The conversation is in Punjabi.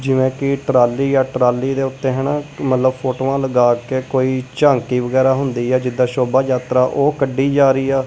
ਜਿਵੇਂ ਕਿ ਟਰਾਲੀ ਆ ਟਰਾਲੀ ਦੇ ਉੱਤੇ ਹਨਾ ਮਤਲਬ ਫੋਟੋਆਂ ਲਗਾ ਕੇ ਕੋਈ ਝਾਂਕੀ ਵਗੈਰਾ ਹੁੰਦੀ ਆ ਜਿੱਦਾਂ ਸ਼ੋਭਾ ਯਾਤਰਾ ਉਹ ਕੱਢੀ ਜਾ ਰਹੀ ਆ।